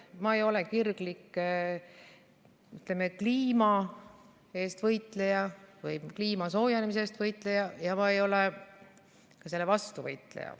Ma ei ole kirglik, ütleme, kliima eest võitleja või kliima soojenemise eest võitleja ja ma ei ole selle vastu võitleja.